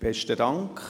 Besten Dank.